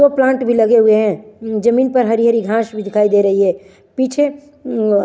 सो plant भी लगे हुए हैं। जमीन पर हरी-हरी घास भी दिखाई दे रही है। पीछे--